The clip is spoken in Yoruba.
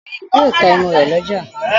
Obìnrin yìí yóò ta ẹmu rẹ̀ lọ́jà.